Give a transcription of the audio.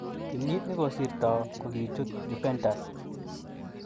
Kenyit nikosirto kokichut Juventus.